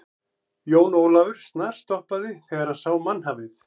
Jón Ólafur snarstoppaði þegar hann sá mannhafið.